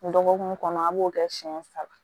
Dɔgɔkun kɔnɔ an b'o kɛ siɲɛ saba